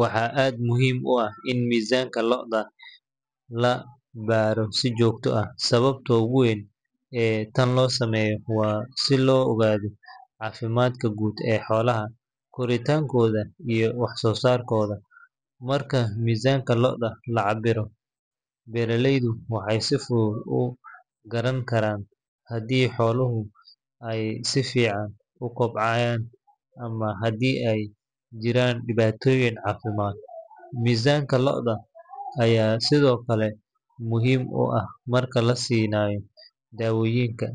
Waxaa aad muhiim u ah in miisaanka lo’da la baaro si joogto ah. Sababta ugu weyn ee tan loo sameeyo waa si loo ogaado caafimaadka guud ee xoolaha, koritaankooda, iyo wax-soosaarkooda. Marka miisaanka lo’da la cabbiro, beeraleydu waxay si fudud u garan karaan haddii xooluhu ay si fiican u kobcayaan ama haddii ay jiraan dhibaatooyin caafimaad. Miisaanka lo’da ayaa sidoo kale muhiim u ah marka la siinayo daawooyinka,